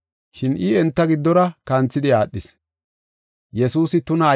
Shin I enta giddora kanthidi aadhis.